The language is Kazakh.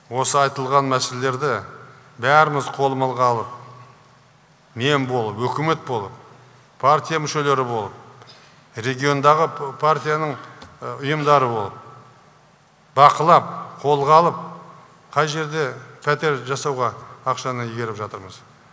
осы айтылған мәселелерді бәріміз қолымызға алып мен болып өкімет болып партия мүшелері болып региондағы партиянның ұйымдары болып бақылап қолға алып қай жерде пәтер жасауға ақшаны игеріп жатырмыз